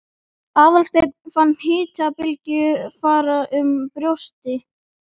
Aðalsteinn fann hitabylgju fara um brjóstið.